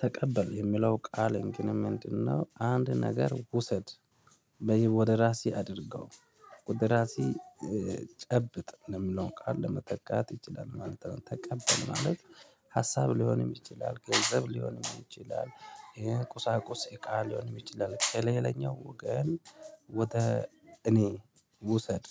ተቀበል የሚለው ቃል ግን ምንድነው? አንድ ነገር ውሰድ ወይም ወደ ራስህ አድርገው ወደ ራስህ ጨብጥ የሚለውን ቃል ለመተካት ይችላል ማለት ነው። ተቀበል ማለት ሀሳብ ሊሆን ይችላል። ገንዘብ ሊሆን ይችላል ይሄን ቁሳቁስ እቃ ሊሆን ይችላል ከሌላኛው ወገን። ወተህ እንተ ውሰድ።